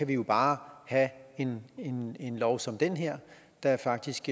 vi jo bare have en lov som den her der faktisk